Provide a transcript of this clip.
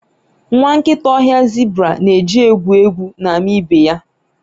nwa nkịta ọhịa zebra na-eji egwu egwu na-ama ibe ya